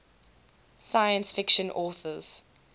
science fiction authors